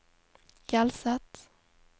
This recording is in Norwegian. Hjelset